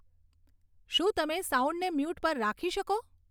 શું તમે સાઉન્ડને મ્યુટ પર રાખી શકો